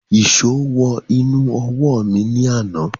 Èsó wọ inú ọwọ́ mi ní àná